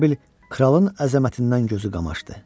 Elə bil kralın əzəmətindən gözü qamaşdı.